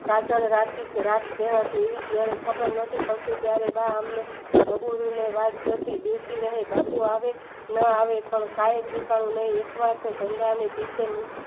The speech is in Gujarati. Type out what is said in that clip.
જયારે ખબર નતી પડતી ત્યરે બા અમને વાત જોતી બેસી રહે બાપુ આવે ન આવે પણ કય ઠેકાણું નહી